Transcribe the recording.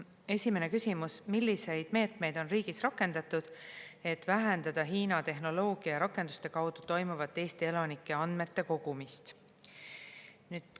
Esimene küsimus: "Milliseid meetmeid on riigis rakendatud, et vähendada Hiina tehnoloogia ja rakenduste kaudu toimuvat Eesti elanike andmete kogumist?